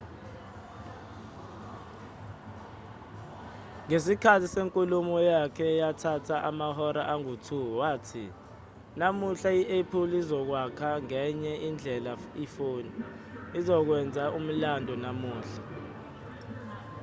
ngesikhathi senkulumo yakhe eyathatha amahora angu-2 wathi namuhla i-apple izokwakha ngenye indlela ifoni sizokwenza umlando namuhla